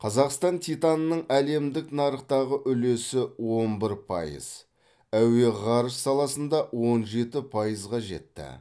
қазақстан титанының әлемдік нарықтағы үлесі он бір пайыз әуе ғарыш саласында он жеті пайызға жетті